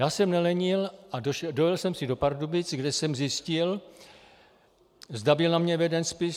Já jsem nelenil a dojel jsem si do Pardubic, kde jsem zjistil, zda byl na mne veden spis.